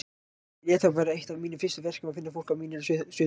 Ég lét það verða eitt af mínum fyrstu verkum að finna fólk af mínu sauðahúsi.